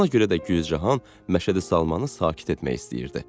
Ona görə də Gülcahan Məşədi Salmanı sakit etmək istəyirdi.